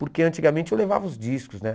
Porque antigamente eu levava os discos, né?